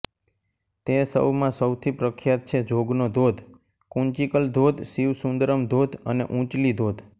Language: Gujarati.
તે સૌમાં સૌથી પ્રખ્યાત છે જોગનો ધોધ કુંચીકલ ધોધ શિવસુંદરમ ધોધ અને ઉઁચલી ધોધ